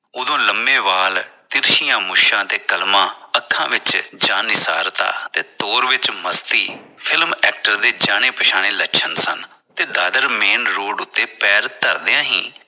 ਉਦੋਂ ਲੰਮੇ ਵਾਲ ਤਿਰਛੀਆਂ ਮੁੱਛਾਂ ਤੇ ਕਲਮਾਂ ਅੱਖਾਂ ਵਿਚ ਤੇ ਤੋਰ ਵਚ ਮਸਤੀ ਦੇ ਜਾਣੇ ਪਛਾਣੇ ਲੱਛਣ ਸਨ ਤੇ ਦਾਦਰ main road ਉਤੇ ਪੈਰ ਧਰਦਿਆਂ ਹੀ